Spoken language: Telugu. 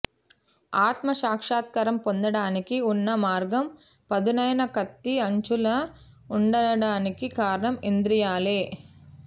ఆత్మ సాక్షాత్కారం పొందడానికి ఉన్న మార్గం పదునైన కత్తి అంచులా ఉండడానికి కారణం ఇంద్రియాలే